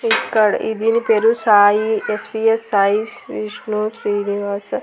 ఇక్కడ ఈ దీని పేరు సాయి ఎస్_వి_ఎస్ సాయి శ్రీ విష్ణు శ్రీనివాస--